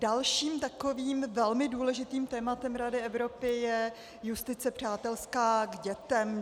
Dalším takovým velmi důležitým tématem Rady Evropy je justice přátelská k dětem.